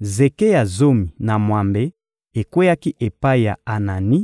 Zeke ya zomi na mwambe ekweyaki epai ya Anani,